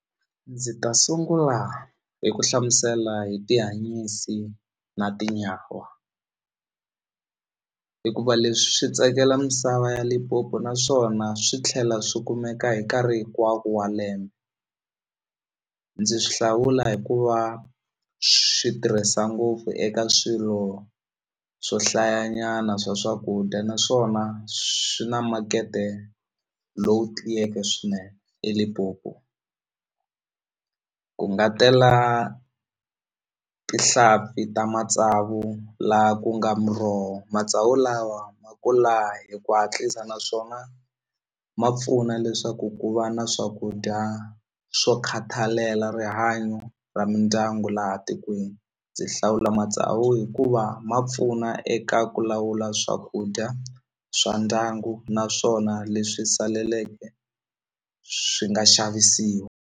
Ndzi ta sungula hi ku hlamusela hi tihanyisi na tinyawa hikuva leswi swi tsakela misava ya Limpopo naswona swi tlhela swi kumeka hi nkarhi hinkwako wa lembe ndzi swi hlawula hikuva swi tirhisa ngopfu eka swilo swo hlaya nyana swa swakudya naswona swi na makete lowu tiyeke swinene eLimpopo ku nga tela tihlampfi ta matsavu la ku nga muroho matsavu lawa ma kula hi ku hatlisa naswona ma pfuna leswaku ku va na swakudya swo ku khathalela rihanyo ra mindyangu laha tikweni ndzi hlawula matsawu hikuva ma pfuna eka ku lawula swakudya swa ndyangu naswona leswi saleleke swi nga xavisiwa.